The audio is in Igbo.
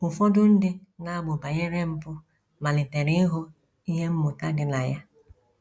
Ụfọdụ ndị na - amụ banyere mpụ malitere ịhụ ihe mmụta dị na ya.